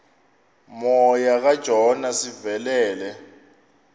moya kajona sivelele